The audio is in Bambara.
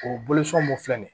O mun filɛ nin ye